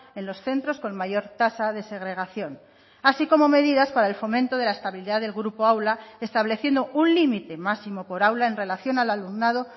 en los centros con mayor tasa de segregación así como medidas para el fomento de la estabilidad del grupo aula estableciendo un límite máximo por aula en relación al alumnado